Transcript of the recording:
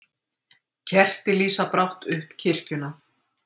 Kerti lýsa brátt upp kirkjuna